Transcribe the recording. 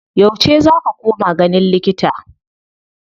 Yauce za ka koma ganin likita?